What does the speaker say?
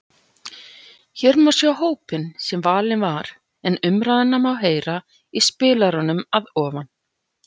Hér má sjá hópinn sem valinn var en umræðuna má heyra í spilaranum að ofan.